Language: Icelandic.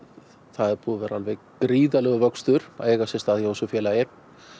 það er búinn að vera gríðarlegur vöxtur að eiga sér stað hjá þessu félagi